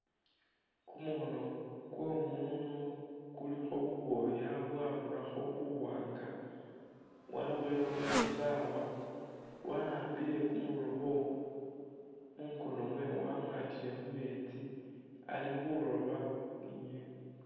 Kumukhono kwo mundu kulikho bubwoya bwarurakho buwanga wabowelekho ni sawa waambile kumurobo mungono mwewe wamwatile mumeetsi ali khuroba inyeni.